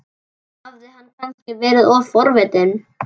Hafði hann kannski verið of forvitin?